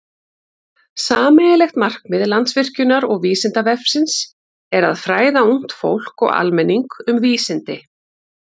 Sameiginlegt markmið Landsvirkjunar og Vísindavefsins er að fræða ungt fólk og almenning um vísindi.